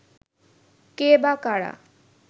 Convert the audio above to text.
কে বা কারা